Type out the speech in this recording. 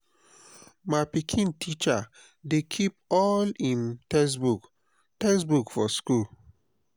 my pikin teacher dey keep all im textbook textbook for school.